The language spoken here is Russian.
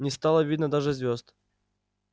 не стало видно даже звёзд